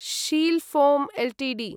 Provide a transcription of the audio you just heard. Sheel Foam Ltd